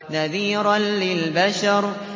نَذِيرًا لِّلْبَشَرِ